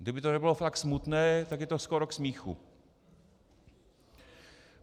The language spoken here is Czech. Kdyby to nebylo tak smutné, tak je to skoro k smíchu.